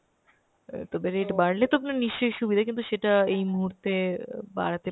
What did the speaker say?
অ্যাঁ তবে rate বাড়লে তো আপনার নিশ্চয় সুবিধা কিন্তু সেটা এই মুহূর্তে অ্যাঁ বাড়াতে